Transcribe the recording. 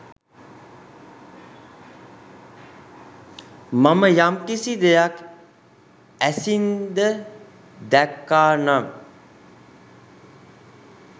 මම යම්කිසි දෙයක් ඇසින්ද දැක්කා නම්